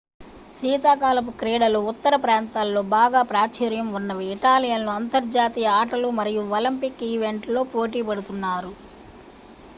శీతాకాలపు క్రీడలు ఉత్తర ప్రాంతాలలో బాగా ప్రాచుర్యం ఉన్నవి ఇటాలియన్లు అంతర్జాతీయ ఆటలు మరియు ఒలింపిక్ ఈవెంట్లలో పోటీ పడుతున్నారు